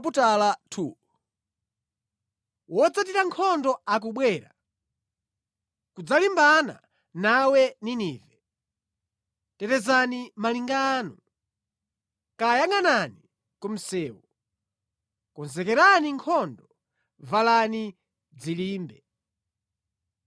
Wodzathira nkhondo akubwera kudzalimbana nawe, Ninive. Tetezani malinga anu, dziyangʼanani ku msewu, konzekerani nkhondo, valani dzilimbe.